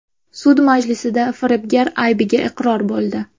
Sud majlisida firibgar aybiga iqror bo‘ldi.